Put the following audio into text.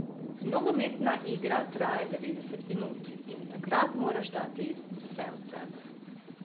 Nogometna igra traja devetdeset minut in takrat moraš dati vse od sebe.